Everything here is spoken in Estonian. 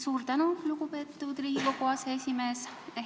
Suur tänu, lugupeetud Riigikogu aseesimees!